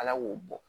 Ala k'o bɔ